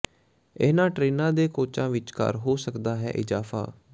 ਇਨ੍ਹਾਂ ਟ੍ਰੇਨਾਂ ਦੇ ਕੋਚਾਂ ਵਿਚਕਾਰ ਹੋ ਸਕਦਾ ਹੈ ਇਜ਼ਾਫ਼ਾ